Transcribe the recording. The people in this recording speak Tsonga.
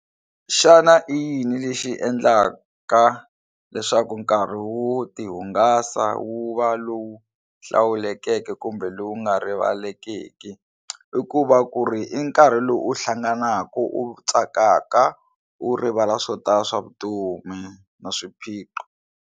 Xana i yini lexi endlaka leswaku nkarhi wo tihungasa wu va lowu hlawulekeke kumbe lowu nga rivalekiki i ku va ku ri i nkarhi lowu u hlanganaka u tsakaka u rivala swo tala swa vutomi na swiphiqo.